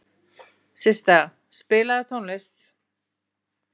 Systa, spilaðu tónlist.